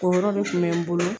O yɔɔɔ de tun bɛ n bolo